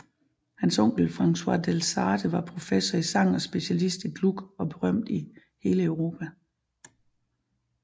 Hans onkel Francois Delsarte var professor i sang og specialist i Gluck og berømt i hele Europa